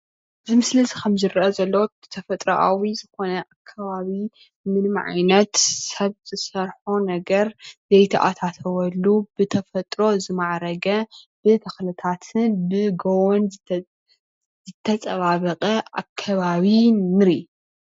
እዚ ምስሊ ከም ዝረአ ዘሎ ብተፈጥሮኣዊ ዝኮነ ከባቢ ምንም ዓይነት ሰብ ዝሰርሖ ነገር ዘይተኣታተወሉ ብተፈጥሮ ዝማዕረገ ብተክልታትን ብጎቦን ዝተፀባበቀ ኣከባቢ ንርኢ፡፡